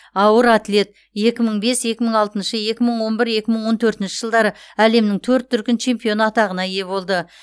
ауыр атлет екі мың бес екі мың алтыншы екі мың он бір екі мың он төртінші жылдары әлемнің төрт дүркін чемпионы атағына ие болды